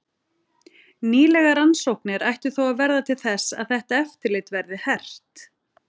Nýlegar rannsóknir ættu þó að verða til þess að þetta eftirlit verði hert.